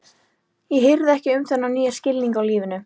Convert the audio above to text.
Ég hirði ekki um þennan nýja skilning á lífinu.